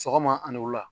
Sɔgɔma ani wula